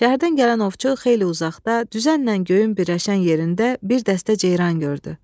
Şəhərdən gələn ovçu xeyli uzaqda, düzənlə göyün birləşən yerində bir dəstə ceyran gördü.